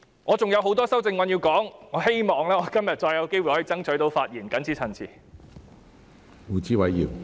我還想就很多修正案發言，希望今天會再次爭取到發言機會。